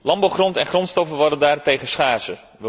Landbouwgrond en grondstoffen worden daarentegen schaarser.